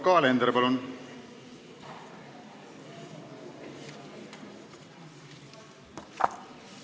Yoko Alender, palun!